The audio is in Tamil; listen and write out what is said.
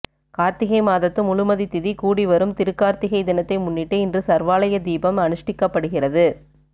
கார்த்திகை மாதத்து முழுமதி திதி கூடி வரும் திருக்கார்த்திகை தினத்தை முன்னிட்டு இன்று சர்வாலய தீபம் அனுஷ்டிக்கப்படுகிறது